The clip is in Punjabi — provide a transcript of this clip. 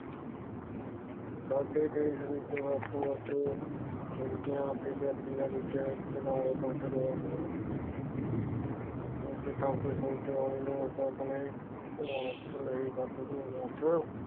ਸਾਡੇ ਦੇਸ਼ ਵਿੱਚ ਵੱਖ ਵੱਖ ਫਿਰਕਿਆਂ ਅਤੇ ਜਾਤੀਆਂ ਵਿੱਚ ਤਣਾਅ ਵੱਧ ਰਿਹਾ ਹੈ। ਕਿਉਂਕਿ ਤੰਗ ਸੋਚ ਵਾਲੇ ਲੋਕ ਆਪਣੇ ਭਾਰਤ ਲਈ ਵੱਧ ਤੋਂ ਵੱਧ